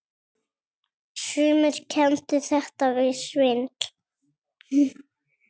Sumir kenndu þetta við svindl.